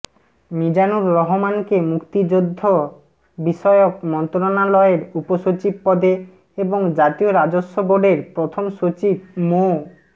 মিজানুর রহমানকে মুক্তিযুদ্ধ বিষয়ক মন্ত্রণালয়ের উপসচিব পদে এবং জাতীয় রাজস্ব বোর্ডের প্রথম সচিব মো